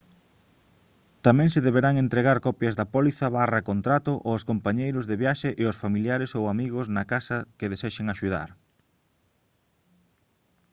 tamén se deberán entregar copias da póliza/contrato aos compañeiros de viaxe e aos familiares ou amigos na casa que desexen axudar